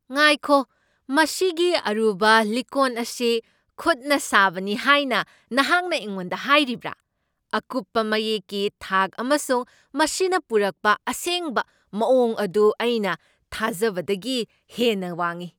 ꯉꯥꯏꯈꯣ, ꯃꯁꯤꯒꯤ ꯑꯔꯨꯕ ꯂꯤꯛꯀꯣꯟ ꯑꯁꯤ ꯈꯨꯠꯅ ꯁꯥꯕꯅꯤ ꯍꯥꯏꯅ ꯅꯍꯥꯛꯅ ꯑꯩꯉꯣꯟꯗ ꯍꯥꯏꯔꯤꯕ꯭ꯔꯥ? ꯑꯀꯨꯞꯄ ꯃꯌꯦꯛꯀꯤ ꯊꯥꯛ ꯑꯃꯁꯨꯡ ꯃꯁꯤꯅ ꯄꯨꯔꯛꯄ ꯑꯁꯦꯡꯕ ꯃꯥꯋꯣꯡ ꯑꯗꯨ ꯑꯩꯅ ꯊꯥꯖꯕꯗꯒꯤ ꯍꯦꯟꯅ ꯋꯥꯡꯢ!